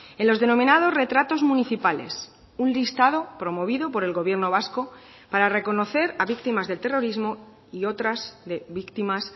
en los denominados retratos municipales un listado promovido por el gobierno vasco para reconocer a víctimas del terrorismo y otras de víctimas